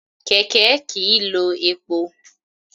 Kẹ̀kẹ́ kìí lo epo.